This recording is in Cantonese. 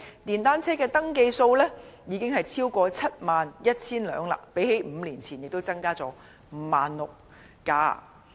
電單車的登記數量已經超過 71,000 輛，相較5年前亦增加 16,000 輛。